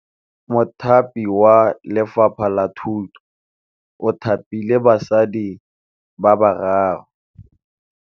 Mothapi wa Lefapha la Thutô o thapile basadi ba ba raro.